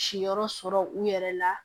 Si yɔrɔ sɔrɔ u yɛrɛ la